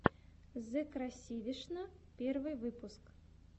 зэкрасавишна первый выпуск